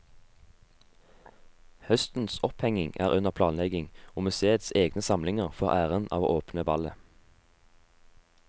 Høstens opphengning er under planlegging, og museets egne samlinger får æren av å åpne ballet.